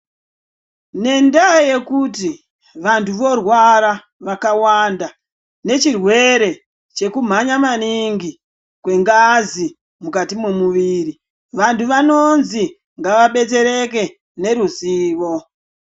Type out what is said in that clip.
Nendaa yekuti vantu vorwara vakawanda nechirwere chekumhanya maningi kwengazi mukati memuviri vantu vanozwi ngavabetsereke ngeruzivo.